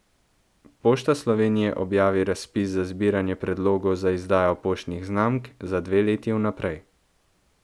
Pošta Slovenije objavi razpis za zbiranje predlogov za izdajo poštnih znamk za dve leti vnaprej.